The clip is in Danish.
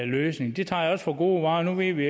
løsning det tager jeg også for gode varer nu ved vi